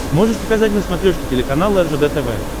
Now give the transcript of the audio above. можешь показать на смотрешке телеканал ржд тв